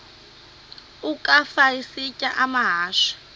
ukafa isitya amahashe